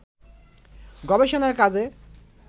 গবেষণার কাজে